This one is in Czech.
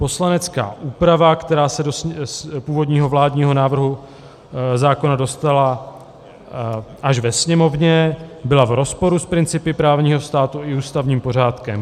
Poslanecká úprava, která se z původního vládního návrhu zákona dostala až do Sněmovny, byla v rozporu s principy právního státu i ústavním pořádkem.